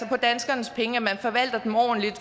på danskernes penge og forvalter dem ordentligt